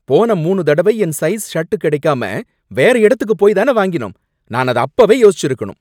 போன மூனு தடவை என் சைஸ் ஷர்ட் கிடைக்காம வேற இடத்துக்குப் போய் தானே வாங்கினோம், நான் அத அப்பவே யோசிச்சிருக்கணும்.